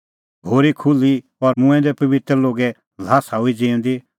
घोरी खुल्ही और मूंऐं दै पबित्र लोगे ल्हासा हुई ज़िऊंदी